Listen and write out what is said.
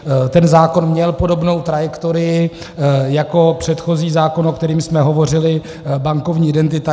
Ten zákon měl podobnou trajektorii jako předchozí zákon, o kterém jsme hovořili - bankovní identita.